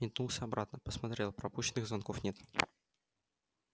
метнулся обратно посмотрел пропущенных звонков нет